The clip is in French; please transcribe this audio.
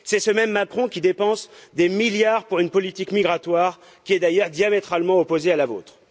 C'est ce même M. Macron qui dépense des milliards pour une politique migratoire qui est d'ailleurs diamétralement opposée à la vôtre.